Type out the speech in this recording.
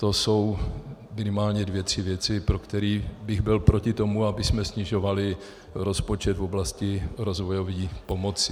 To jsou minimálně dvě tři věci, pro které bych byl proti tomu, abychom snižovali rozpočet v oblasti rozvojové pomoci.